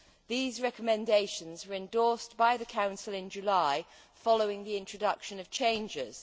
These recommendations were endorsed by the Council in July following the introduction of changes.